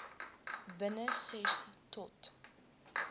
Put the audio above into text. binne ses tot